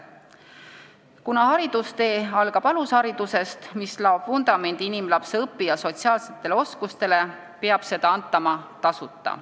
Kuna haridustee algab alusharidusest, mis laob vundamendi inimlapse õpi- ja sotsiaalsetele oskustele, peab seda antama tasuta.